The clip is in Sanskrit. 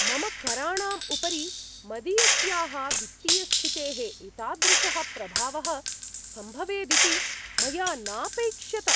मम कराणाम् उपरि मदीयस्याः वित्तीयस्थितेः एतादृशः प्रभावः सम्भवेदिति मया नापैक्ष्यत।